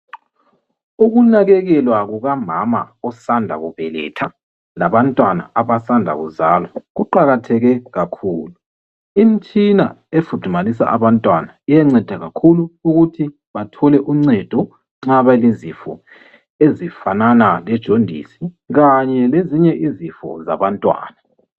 ukunakekelwa kukamama osanda kubeletha labantwana abasanda kuzalwa kuqakatheke kakhulu imtshina efudumalisa abantwana iyanceda kakhulu ukuthi bathole uncedo nxa belezifo ezifanana le joundis kanye lezinye izifo zabantwana